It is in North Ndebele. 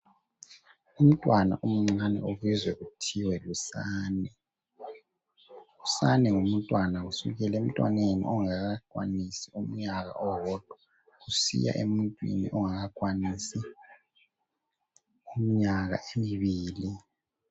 umntwana omncane obizwa kuzthiwe lusane usane ngumntwana kusukela emntwaneni ongakakwanisi umnyaka owodwa kusiya emuntwini ongakakwanisi iminyaka emibili